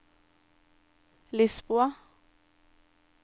Lisboa